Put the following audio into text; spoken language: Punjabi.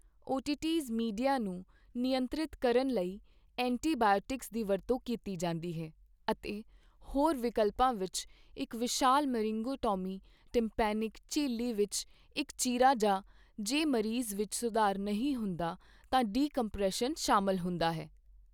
ਓਟੀਟਿਸ ਮੀਡੀਆ ਨੂੰ ਨਿਯੰਤਰਿਤ ਕਰਨ ਲਈ ਐਂਟੀਬਾਇਓਟਿਕਸ ਦੀ ਵਰਤੋਂ ਕੀਤੀ ਜਾਂਦੀ ਹੈ, ਅਤੇ ਹੋਰ ਵਿਕਲਪਾਂ ਵਿੱਚ ਇੱਕ ਵਿਸ਼ਾਲ ਮਰਿੰਗੋਟੋਮੀ ਟਾਈਮਪੈਨਿਕ ਝਿੱਲੀ ਵਿੱਚ ਇੱਕ ਚੀਰਾ ਜਾਂ ਜੇ ਮਰੀਜ਼ ਵਿੱਚ ਸੁਧਾਰ ਨਹੀਂ ਹੁੰਦਾ ਤਾਂ ਡੀਕੰਪਰੈਸ਼ਨ ਸ਼ਾਮਲ ਹੁੰਦਾ ਹੈ।